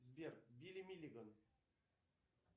сбер билли миллиган